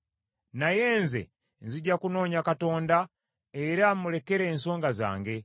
Naye nze, nzija kunoonya Katonda era mmulekere ensonga zange.